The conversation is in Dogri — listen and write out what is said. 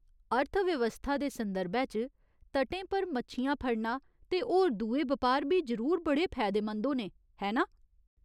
अर्थव्यवस्था दे संदर्भै च, तटें पर मच्छियां फड़ना ते होर दुए बपार बी जरूर बड़े फैदेमंद होने, है ना?